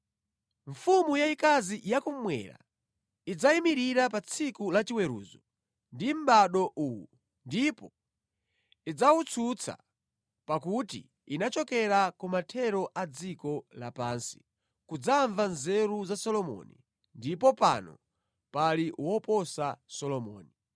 Mfumu yayikazi yakummwera idzayimirira pa tsiku lachiweruzo ndi mʼbado uwu ndipo idzawutsutsa pakuti inachokera kumathero a dziko lapansi kudzamva nzeru za Solomoni, ndipo pano pali woposa Solomoni.